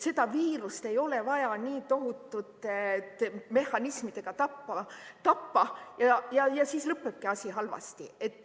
Seda viirust ei ole vaja nii tohutute mehhanismidega tappa, siis lõpebki asi halvasti.